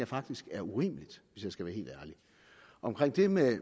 faktisk er urimeligt hvis jeg skal være helt ærlig omkring det med